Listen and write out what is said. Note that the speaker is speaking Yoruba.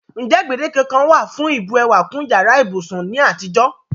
N je gbèdéke kankan wa fún ìbu ewà kún yàrá ibúsún ni àtijọ́?